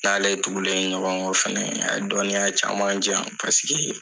N' n'ale tugulen ɲɔgɔn kɔ fɛnɛ a ye dɔnniya caman diyan paseke